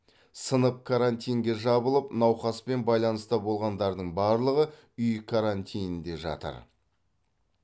сынып карантинге жабылып науқаспен байланыста болғандардың барлығы үй карантинінде жатыр